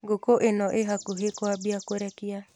Ngũkũ ĩno ĩ hakuhĩ kwambia kũrekia.